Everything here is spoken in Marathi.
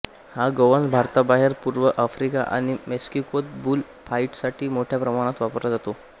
हा गोवंश भारताबाहेर पूर्व आफ्रिका आणि मेक्सिकोत बुल फाईटसाठी मोठ्या प्रमाणात वापरला जातो